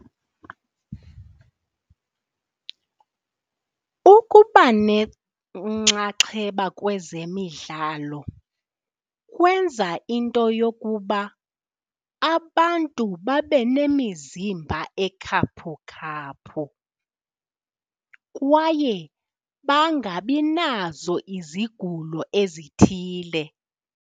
Ukuba nenxaxheba kwezemidlalo kwenza into yokuba abantu babe nemizimba ekhaphukhaphu kwaye bangabi nazo izigulo ezithile.